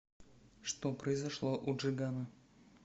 что произошло у джигана